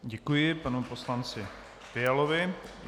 Děkuji panu poslanci Fialovi.